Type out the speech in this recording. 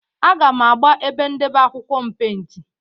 Aga m agba ebe ndebe akwụkwọ m pentị.